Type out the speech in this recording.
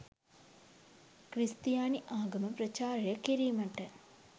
ක්‍රිස්තියානි ආගම ප්‍රචාරය කිරීමට